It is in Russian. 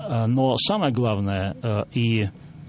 но самое главное и